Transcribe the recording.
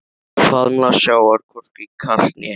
Faðmlag sjávar hvorki kalt né heitt.